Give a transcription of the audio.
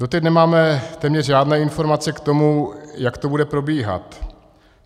Doteď nemáme téměř žádné informace k tomu, jak to bude probíhat.